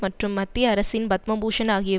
மற்றும் மத்திய அரசின் பத்மபூஷண் ஆகிய